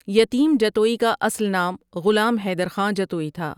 یتیم جتوئی کا اصل نام غلام حیدر خاں جتوئی تھا ۔